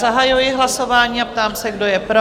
Zahajuji hlasování a ptám se, kdo je pro?